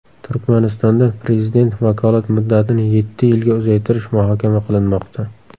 Turkmanistonda Prezident vakolat muddatini yetti yilga uzaytirish muhokama qilinmoqda.